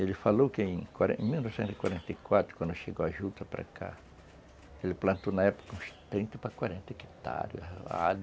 Ele falou que em quaren em mil novecentos e quarenta e quatro, quando chegou a juta para cá, ele plantou na época uns trinta para quarenta hectares.